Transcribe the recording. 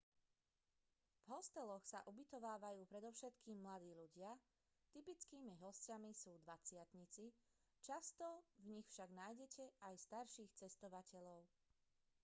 v hosteloch sa ubytovávajú predovšetkým mladí ľudia typickými hosťami sú dvadsiatnici často v nich však nájdete aj starších cestovateľov